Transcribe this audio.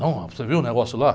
Não, mas você viu o negócio lá?